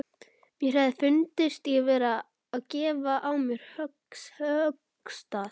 Mér hefði fundist ég vera að gefa á mér höggstað.